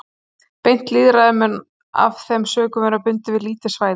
Beint lýðræði mun af þeim sökum vera bundið við lítið svæði.